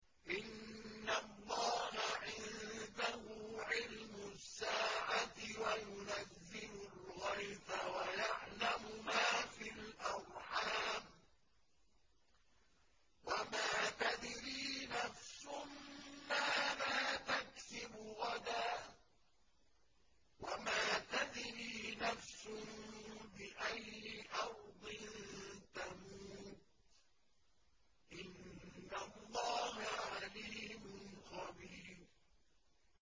إِنَّ اللَّهَ عِندَهُ عِلْمُ السَّاعَةِ وَيُنَزِّلُ الْغَيْثَ وَيَعْلَمُ مَا فِي الْأَرْحَامِ ۖ وَمَا تَدْرِي نَفْسٌ مَّاذَا تَكْسِبُ غَدًا ۖ وَمَا تَدْرِي نَفْسٌ بِأَيِّ أَرْضٍ تَمُوتُ ۚ إِنَّ اللَّهَ عَلِيمٌ خَبِيرٌ